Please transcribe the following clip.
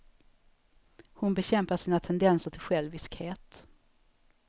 Hon bekämpar sina tendenser till själviskhet.